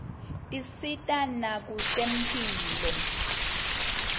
tisita nakwetemphilo